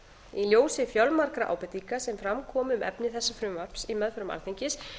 í ljósi fjölmargra ábendinga sem fram komu um efni þess frumvarps í meðförum alþingis